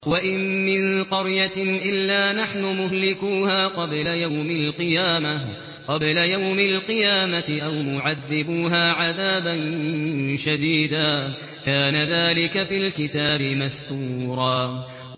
وَإِن مِّن قَرْيَةٍ إِلَّا نَحْنُ مُهْلِكُوهَا قَبْلَ يَوْمِ الْقِيَامَةِ أَوْ مُعَذِّبُوهَا عَذَابًا شَدِيدًا ۚ كَانَ ذَٰلِكَ فِي الْكِتَابِ مَسْطُورًا